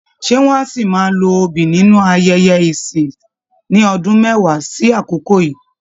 Ṣé wọ́n á ṣì máa lo obì nínú ayẹyẹ ẹ̀sìn ní ọdún mẹ́wàá sí àkokò yíì?.